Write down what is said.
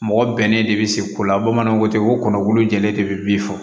Mɔgɔ bɛnnen de bɛ se ko la bamananw ko ten ko kɔnɔkulu jɛlen de bɛ bin fɔ